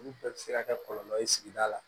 Olu bɛɛ bɛ se ka kɛ kɔlɔlɔ ye sigida la